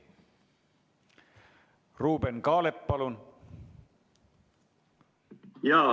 Ruuben Kaalep, palun!